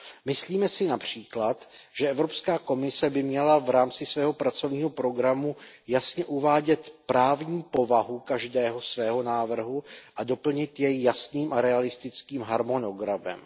Myslíme si například, že Evropská komise by měla v rámci svého pracovního programu jasně uvádět právní povahu každého svého návrhu a doplnit jej jasným a realistickým harmonogramem.